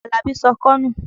Àlàbí sọ ọkọ́ nù.